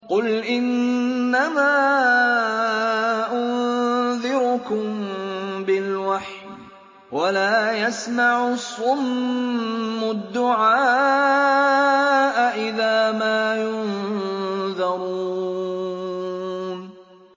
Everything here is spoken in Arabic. قُلْ إِنَّمَا أُنذِرُكُم بِالْوَحْيِ ۚ وَلَا يَسْمَعُ الصُّمُّ الدُّعَاءَ إِذَا مَا يُنذَرُونَ